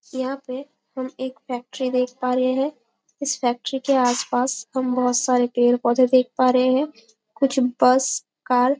यहाँ पे हम एक फैक्ट्री देख पा रहे है इस फैक्ट्री के आसपास हम बहोत सारे पेड़-पौधे देख पा रहे है कुछ बस कार --